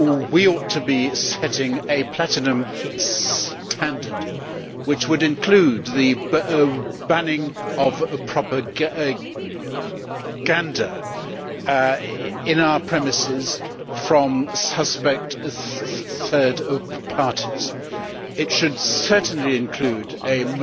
We ought to be setting a platinum standard which would include the banning of propaganda on our premises from suspect third parties. It should certainly include a